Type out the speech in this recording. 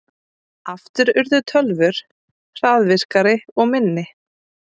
Aftur urðu tölvur hraðvirkari og minni.